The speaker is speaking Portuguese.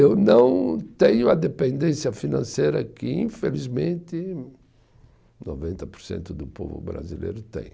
Eu não tenho a dependência financeira que, infelizmente, noventa por cento do povo brasileiro tem.